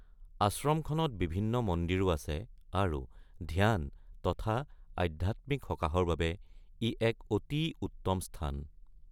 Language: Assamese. আশ্ৰমখনত বিভিন্ন মন্দিৰো আছে আৰু ধ্যান তথা আধ্যাত্মিক সকাহৰ বাবে ই এক অতি উত্তম স্থান।